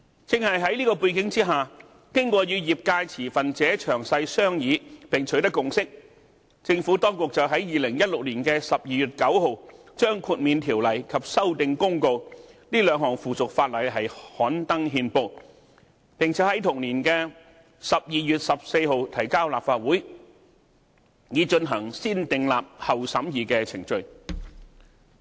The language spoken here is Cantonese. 在這背景下，經過與業界持份者詳細商議並取得共識，政府當局在2016年12月9日把《豁免規例》及《修訂公告》這兩項附屬法例刊登憲報，並在同年12月14日提交立法會，以進行"先訂立，後審議"的程序。